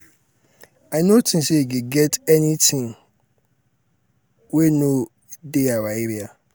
i no think say e get anything wey no um dey our area um